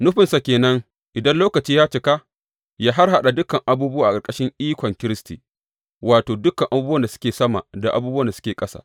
Nufinsa ke nan, idan lokaci ya cika, yă harhaɗa dukan abubuwa a ƙarƙashin ikon Kiristi, wato, dukan abubuwan da suke sama da abubuwan da suke ƙasa.